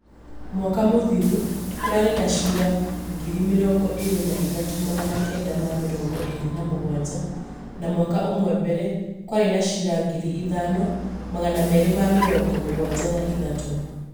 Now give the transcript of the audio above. mwaka mũthiru kũrarĩ na cira ngiri mĩrongo ĩrĩ na ĩthatũ magana Kenda ma mĩrongo ĩrĩ na mũgwanja, na mwaka ũmwe mbere, kwarĩ na cira ngiri ithano magana merĩ ma mĩrongo mũgwanja na ĩthatũ